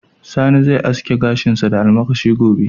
Sani zai aske gashinsa da almakashi gobe.